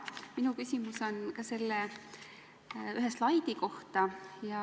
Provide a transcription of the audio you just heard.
Minu küsimus on ühe slaidi kohta.